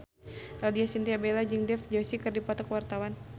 Laudya Chintya Bella jeung Dev Joshi keur dipoto ku wartawan